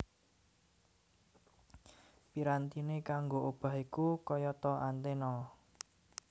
Pirantiné kanggo obah iku kayata antena